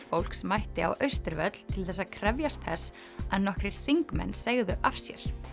fólks mætti á Austurvöll til þess að krefjast þess að nokkrir þingmenn segðu af sér